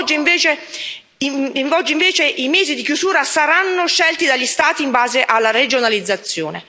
Oggi invece i mesi di chiusura saranno scelti dagli Stati in base alla regionalizzazione.